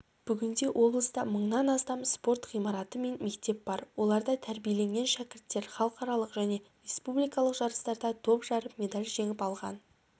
бүгінде облыста мыңнан астам спорт ғимарты мен мектеп бар оларда тәрбиеленген шәкіртер халықаралық және республикалық жарыстарда топ жарып медаль жеңіп алған